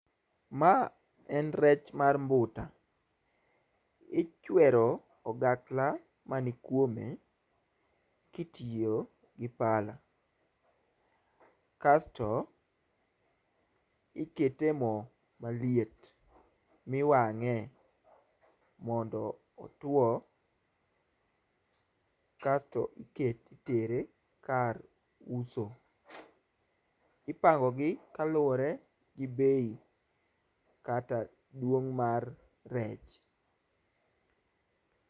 Ma en rech mar mbuta. Ichwero ogakla man kuome kitiyo gi pala kasto ikete moo maliet miwang'ee mondo otuo kasto ike itere kar uso. Ipango gi kaluwore gi []bei[] kata duong' mar rech.